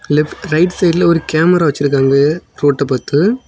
Left right சைடுல ஒரு camera வச்சிருக்காங்க ரோட்ட பாத்து.